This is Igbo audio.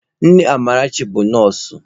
Nne Amarachi bụ nọọsụ.